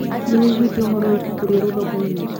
Nĩwĩiguĩte ũhoro wa ibuku rĩerũ thokoinĩ?